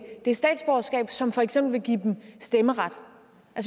det statsborgerskab som for eksempel vil give dem stemmeret